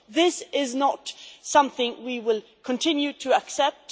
This is not something we will continue to accept.